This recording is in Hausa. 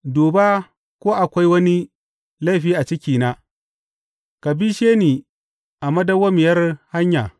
Duba ko akwai wani laifi a cikina, ka bishe ni a madawwamiyar hanya.